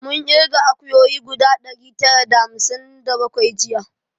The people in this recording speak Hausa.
Mun irga akuyoyi guda ɗari tara da hamsin da bakwai jiya